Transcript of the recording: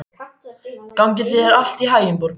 Gangi þér allt í haginn, Borgrún.